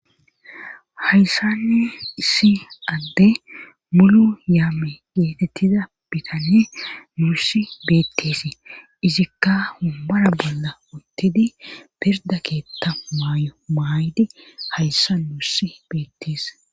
Hayssan issi addey mulu yaame geetettida bitanne nuussi beetteesi izikka wombara bolla uttidi pirda keetta maayo maaydi hayssa nuussi beettees